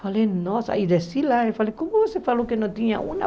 Falei, nossa, e desci lá e falei, como você falou que não tinha uma?